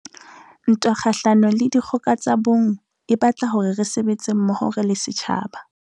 Ntwa kgahlano le dikgoka tsa bong e batla hore re sebetse mmoho re le setjhaba.